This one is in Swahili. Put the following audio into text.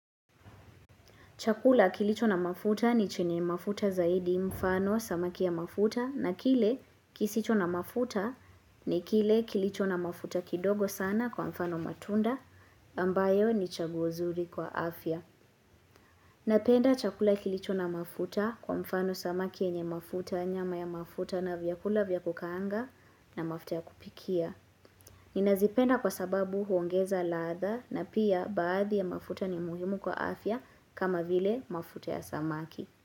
Chakula kilicho na mafuta ni chenye mafuta zaidi kwa mfano samaki ya mafuta na kile kisicho na mafuta ni kile kilicho na mafuta ndogo sana kwa mfano matunda ambayo ni chaguo zuri kwa afya. Napenda chakula kilicho na mafuta kwa mfano samaki yenye mafuta nyama ya mafuta na vyakula vyakukaanga na mafuta ya kupikia. Nina zipenda kwa sababu huongeza ladha na pia baadhi ya mafuta ni muhimu kwa afya kama vile mafuta ya samaki.